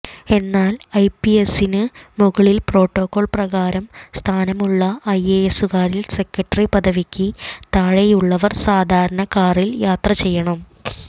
എന്നാൽ ഐപിഎസിന് മുകളിൽ പ്രോട്ടോകോൾ പ്രകാരം സ്ഥാനമുള്ള ഐഎഎസുകാരിൽ സെക്രട്ടറി പദവിക്ക് താഴെയുള്ളവർ സാധാരണ കാറിൽ യാത്ര ചെയ്യണം